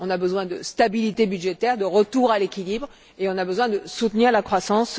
On a besoin de stabilité budgétaire, de retour à l'équilibre, et on a besoin de soutenir la croissance.